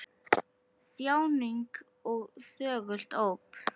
Þjáning og þögult óp!